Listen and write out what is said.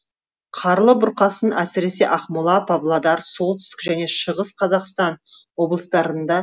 қарлы бұрқасын әсіресе ақмола павлодар солтүстік және шығыс қазақстан облыстарында